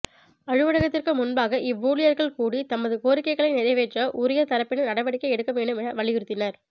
அலுவலகத்திற்கு முன்பாக இவ் ஊழியர்கள் கூடி தமது கோரிக்கைகளை நிறைவேற்ற உரிய தரப்பினர் நடவடிக்கை எடுக்கவேண்டும் என வலியுறுத்தினர்